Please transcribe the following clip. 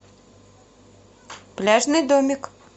пляжный домик